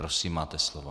Prosím, máte slovo.